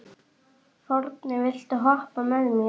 Forni, viltu hoppa með mér?